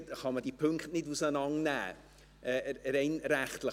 Man kann die Punkte bei Rückweisungen nicht auseinandernehmen, rein rechtlich.